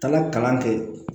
Taga kalan kɛ